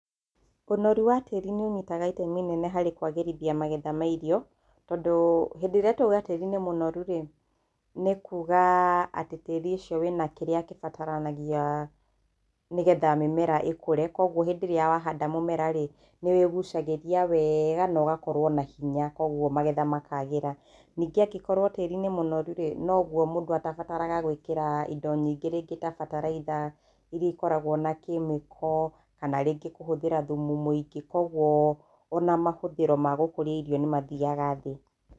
Ũnoru wa tĩĩri nĩ ũnyitaga itemi nene harĩ kwagĩrithia magetha ma irio tondũ hĩndĩ ĩrĩa twauga tĩĩri nĩ mũnoru rĩ, nĩ kuuga atĩ tĩĩri ũcio wĩna kĩrĩa kĩbataranagia nĩgetha mĩmera ĩkũre. Koguo hĩndĩ ĩrĩa wahanda mũmera rĩ, nĩ wĩgucagĩria wega na ũgakorwo na hinya koguo magetha makagĩra, ningĩ angĩkorwo tĩĩri nĩ mũnoru rĩ, noguo mũndũ atabataraga gũĩkĩra indo nyingĩ rĩngĩ ta bataraitha iria ikoragwo na kemiko kana rĩngĩ kũhũthĩra thumu mũingĩ, koguo ona mahũthĩro ma gũkũria irio nĩ mathiaga na thĩ.